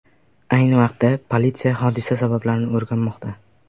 Ayni vaqtda politsiya hodisa sabablarini o‘rganmoqda.